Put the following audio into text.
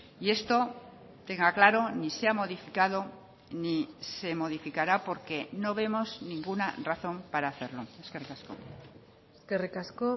y esto tenga claro ni se ha modificado ni se modificará porque no vemos ninguna razón para hacerlo eskerrik asko eskerrik asko